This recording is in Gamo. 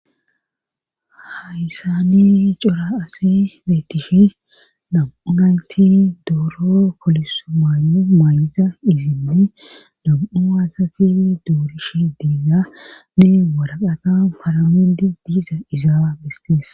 Hayssani cora ase beettishe dam7u naynti dooro poliso maae maa7ita izinni dam7u aasatii doorish diiganne waraqata faramedi diiza izaa bistees.